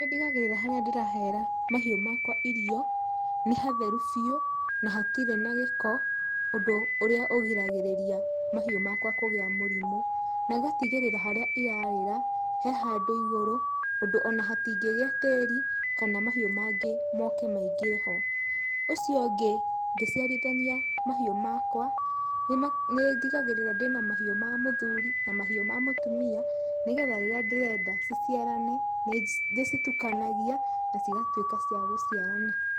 Nĩ ndigagĩrĩra harĩa ndirahera mahiũ makwa irio, nĩ hatheru biũ, na hatirĩ na gĩko, ũndũ ũrĩa ũgiragĩrĩria mahiũ makwa kũgĩa mũrimũ. Na ngatigĩrĩra harĩa irarĩra, he handũ igũrũ, ũndũ ona hatingĩgĩa tĩri, kana mahiũ mangĩ moke maingĩre ho. Ũcio ũngĩ, ngĩciarithania mahiũ makwa, nĩ ndigagĩrĩra ndĩna mahiũ ma mũthuri na mahiũ ma mũtumia, nĩgetha rĩrĩa ndĩrenda ci ciarane, nĩ ndĩcitukanagia na cigatuĩka cia gũciarana.